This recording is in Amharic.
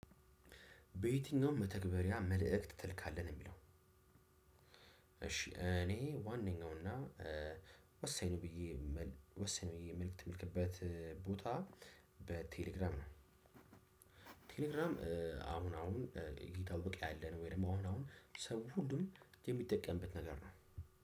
በየትኛውም መተግበርያ መልእክት ተለካለህ ነው የሚለው። እሺ እኔ ዋነኛውና ወሳኝ ነው ብዬ ወሳኝ ነው ብዬ መልእክት የምልክበት ቦታ በቴሌግራም ነው። ቴሌግራም አሁን አሁን እየታወቀ ያለነው ወይም ደግሞ አሁን አሁን ሰው ሁሉንም የሚጠቀምበት ነገር ነው።